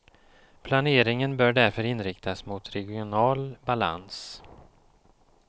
Planeringen bör därför inriktas mot regional balans.